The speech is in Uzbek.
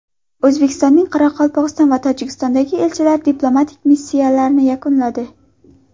O‘zbekistonning Qozog‘iston va Tojikistondagi elchilari diplomatik missiyalarini yakunladi.